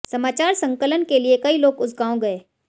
समाचार संकलन के लिए कई लोग उस गांव गए